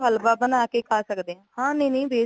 ਹਲਵਾ ਬਣਾ ਖਾ ਸਕਦੇ ਆ ਹਾਂ ਹਾਂ ਨਈ ਨਈ